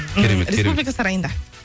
керемет керемет республика сарайында